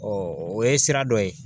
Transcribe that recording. o ye sira dɔ ye